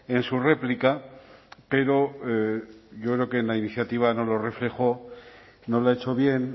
en su réplica pero yo creo que en la iniciativa no lo reflejó no lo ha hecho bien